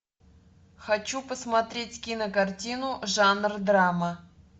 хочу посмотреть кинокартину жанр драма